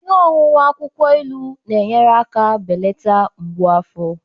Ihe ọṅụṅụ akwukwo ilu na-enyere aka belata mgbu afọ